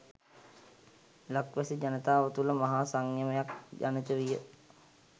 ලක්වැසි ජනතාව තුළ මහා සංයමයක් ජනිතවිය.